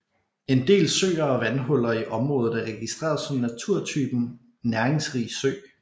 En del søer og vandhuller i området er registreret som naturtypen næringsrig sø